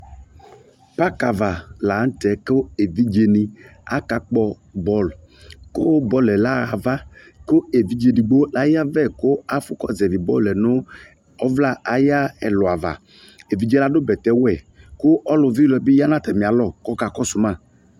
Paka ava lantɛ ko evidze ne aka kpɔ bɔlu ko bɔluɛ la ha ava ko evidze edigbo la yavɛ ko afo kɔ zavi bɔluɛ no ɔvla aya ɛlu avaEvidze lado bɛtɛwɛ ko ɔlu vi ilɔɛ be ya no atame alɔ ko ɔka kɔso ma